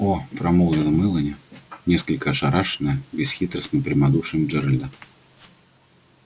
о промолвила мелани несколько ошарашенная бесхитростным прямодушием джералда